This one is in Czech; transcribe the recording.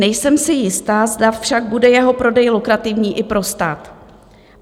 Nejsem si jista, zda však bude jeho prodej lukrativní i pro stát.